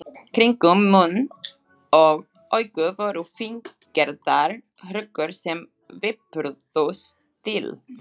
Kringum munn og augu voru fíngerðar hrukkur, sem vipruðust til.